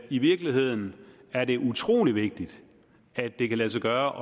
i virkeligheden er det utrolig vigtigt at det kan lade sig gøre